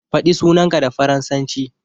Faɗi sunanka da faransanci.